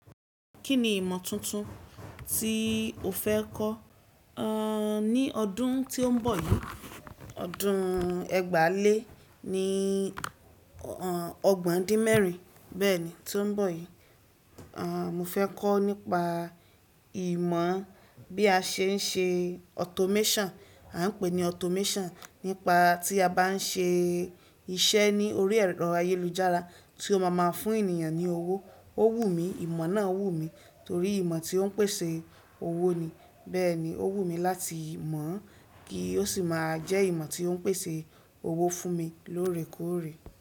Kí ni ìmọ̀ tuntun tí o fẹ́ kọ́, ehn, ní ọdún tí ó ń bọ̀ yìí? Ọdún ẹgbàá-lé-ní, ehrn, ọgbọ̀n-dín-mẹ́rin. Bẹ́ẹ̀ ni, tí ó ń bọ̀ yìí. Ehrn, mo fẹ́ kọ́ nípa ìmọ̀ bí a ṣe ń ṣe automation. A ń pè ní automation. Nípa tí a bá ń ṣe iṣẹ́ ní orí ẹ̀rọ ayélujára tí ó máa máa fún ènìyàn ní owó. Ó wù mí, ìmọ̀ náà wù mí torí ìmọ̀ tí ó ń pèsè owó ni. Bẹ́ẹ̀ ni, ó wù mí láti mọ̀ kí ó sì máa jẹ́ ìmọ̀ tí ó ń pèsè owó fún mi lóòrèkóòrè.